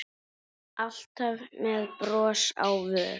Alltaf með bros á vör.